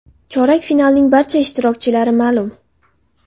Chorak finalning barcha ishtirokchilari ma’lum.